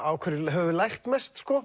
á hverju höfum við lært mest sko